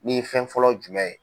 Ni fɛn fɔlɔ jumɛn ye?